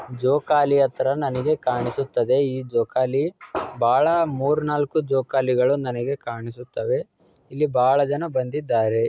ಜೋಕಾಲಿ ತರ ನನಗೆ ಕಾಣಿಸುತ್ತದೆ ಈ ಜೋಕಾಲಿ. ಬಾಳ ಮೂರ್ ನಾಲ್ಕು ಜೋಕಾಲಿಗಳ ನನಗೆ ಕಾಣಿಸುತ್ತವೆ. ಇಲ್ಲಿ ಬಾಳ ಜನ ಬಂದಿದ್ದಾರೆ.